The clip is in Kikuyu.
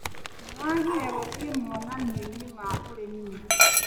Mũragire gũthĩi monanioinĩ ma ũrĩmi nĩki.